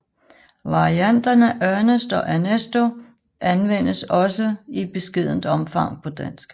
Varianterne Ernest og Ernesto anvendes også i beskedent omfang på dansk